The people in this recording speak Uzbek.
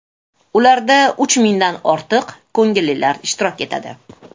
Ularda uch mingdan ortiq ko‘ngillilar ishtirok etadi.